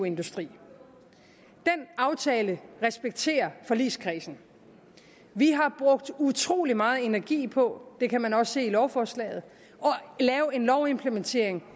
industri den aftale respekterer forligskredsen vi har brugt utrolig meget energi på det kan man også se i lovforslaget at lave en lovimplementering